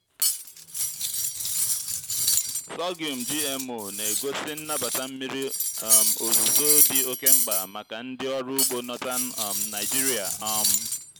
sorghum gmo na-egosi nnabata mmiri um ozuzo dị oke mkpa maka ndị ọrụ ugbo northern um nigeria. um